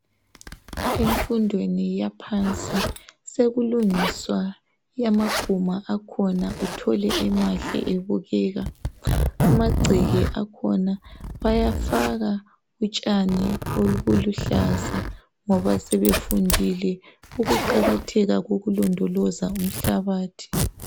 Emfundweni yaphansi sekulungiswa amaguma akhona uthole emahle ebukeka amagceke akhona bayafaka utshani obuluhlaza ngoba sebefundile ukuqakatheka kokulondoloza umhlabathi.